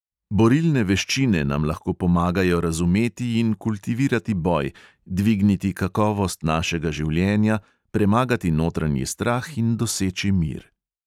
Borilne veščine nam lahko pomagajo razumeti in kultivirati boj, dvigniti kakovost našega življenja, premagati notranji strah in doseči mir.